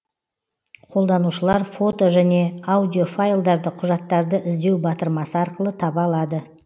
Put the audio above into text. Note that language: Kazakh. қолданушылар фото және аудиофайлдарды құжаттарды іздеу батырмасы арқылы таба алады